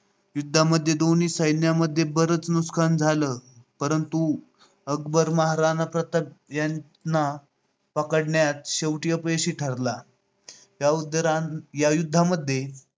युद्धामध्ये दोन्ही सैन्यांमध्ये बरेच नुकसान झालं. परंतु अकबर महाराणा प्रताप यांना पकडण्यात शेवटी अपयशी ठरला. या युद्धामध्ये